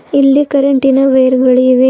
ಇಲ್ಲಿ ಕರೆಂಟಿನ ವೈರ್ ಗಳು ಇವೆ.